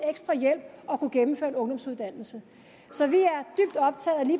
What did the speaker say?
ekstra hjælp at kunne gennemføre en ungdomsuddannelse så vi